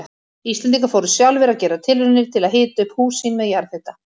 Íslendingar fóru sjálfir að gera tilraunir til að hita upp hús sín með jarðhita.